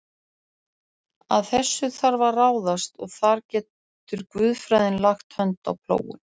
Að þessu þarf að ráðast og þar getur guðfræðin lagt hönd á plóginn.